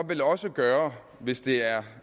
også gøre hvis det er